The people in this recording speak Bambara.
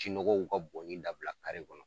Jinɔgɔw ka bɔnni dabila kɔnɔ